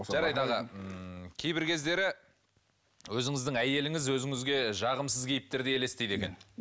жарайды аға ммм кейбір кездері өзіңіздің әйеліңіз өзіңізге жағымсыз кейіптерде елестейді екен